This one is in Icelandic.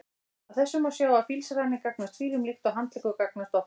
Af þessu má sjá að fílsraninn gagnast fílum líkt og handleggur gagnast okkur.